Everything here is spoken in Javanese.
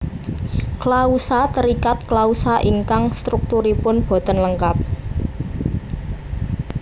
Klausa terikat klausa ingkang strukturipun boten lengkap